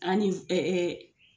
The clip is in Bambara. An ni ɛɛ